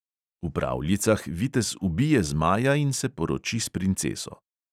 V pravljicah vitez ubije zmaja in se poroči s princeso.